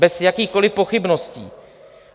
Bez jakýchkoliv pochybností!